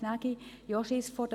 Ich habe auch Angst vor Hunden;